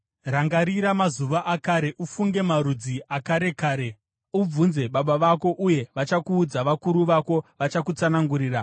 Rangarira mazuva akare; ufunge marudzi akare kare. Ubvunze baba vako, uye vachakuudza, vakuru vako vachakutsanangurira.